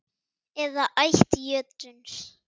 eða ætt jötuns